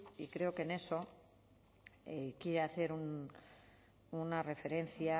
y creo que en eso quiere hacer una referencia